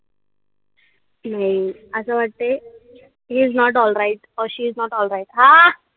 नाई असं वाटतय heisnot alright or she is not alright a?